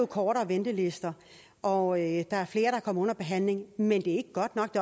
kortere ventelister og der er flere der kommer under behandling men det er ikke godt nok